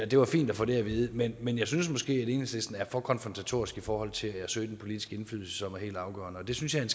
det var fint at få det at vide men men jeg synes måske alligevel at enhedslisten er for konfrontatorisk i forhold til at søge den politiske indflydelse som er helt afgørende og det synes jeg er